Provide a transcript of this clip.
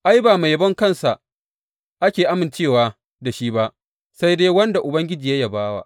Ai, ba mai yabon kansa ake amincewa da shi ba, sai dai wanda Ubangiji ya yaba wa.